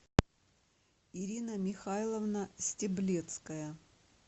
ирина михайловна стеблецкая